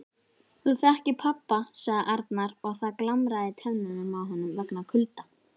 Þú þekkir pabba sagði Arnar og það glamraði í tönnunum á honum vegna kulda.